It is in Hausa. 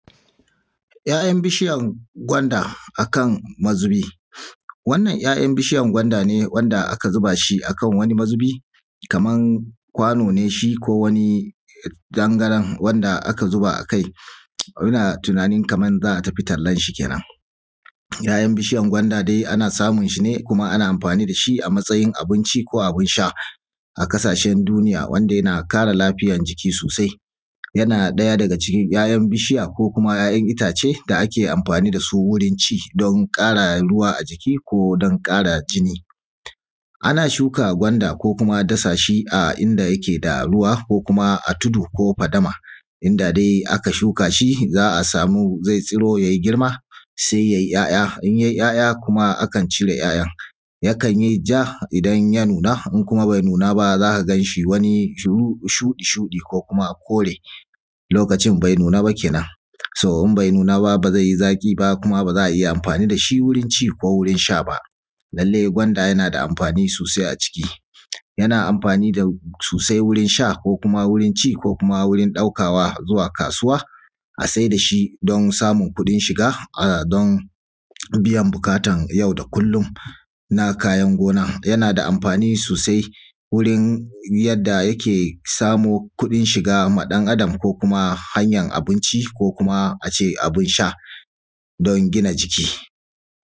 'Ya'yan bishiyan gwanda akan mazubi. Wannan 'ya'yan bishiyan gwanda ne wanda aka zuba shi akan mazubi kaman kwano ne shi ko wani tangaran wanda aka zuba akai, ina tunanin kamar za a tafi tallanshi keenan. 'Ya'yan bishiyan gwanda dai ana samun shi ne kuma ana amfaani da shi a matsayin abinci ko abin sha a ƙasashen duniya wanda yana ƙara lafiyan jiki soosai. Yana ɗaya daga cikin 'ya'yan bishiya ko kuma 'ya'yan itaace da ake amfaani da su wuri ci don ƙara ruwa ajiki ko don ƙara jini. Ana shuka gwanda ko kuma dasashi a inda yake da ruwa ko kuma a tudu ko fadama inda dai aka shuka shi za a samu zai tsiro yayi girma sai yayi 'ya'ya, in yayi 'ya'ya kuma akan cire 'ya'yan, yakan yi ja idan ya nuna in kuma bai nuna ba za ka ganshi wani shuɗi-shuɗi ko kuma kore lokacin bai nuna ba keenan so in bai nuna ba baa zai yi zaƙi ba kuma ba za iya amfaani da shi wurin ci ko wurin sha ba. Lallai gwanda yana da amfaani soosai a jiki yana amfaani soosai wurin sha ko kuma wurin ci ko kuma a wurin ɗaukawa zuwa kaasuwa a saida shi don samun kuɗin shiga don biyan buƙatar yau da kullum na kayan gona. Yana da amfaani soosai wurin yadda yake samo kuɗin shiga ma ɗan’adam ko kuma hanyar abinci ko kuma a ce abin sha don gina jiki.